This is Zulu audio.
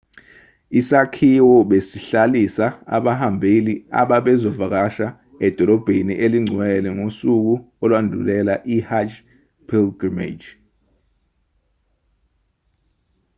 isakhiwo besihlalisa abahambeli ababezovakasha edolobheni elingcwele ngosuku olwandulela i-hajj pilgrimage